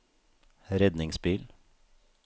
redningsbil